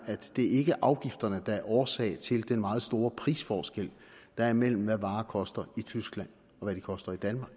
at det ikke er afgifterne der er årsag til den meget store prisforskel der er imellem hvad varer koster i tyskland og hvad de koster i danmark